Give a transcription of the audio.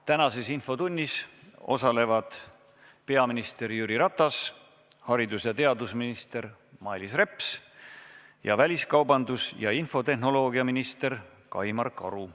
Tänases infotunnis osalevad peaminister Jüri Ratas, haridus- ja teadusminister Mailis Reps ning väliskaubandus- ja infotehnoloogiaminister Kaimar Karu.